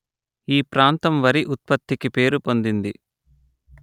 ఈ ప్రాంతం వరి ఉత్పత్తికి పేరుపొందింది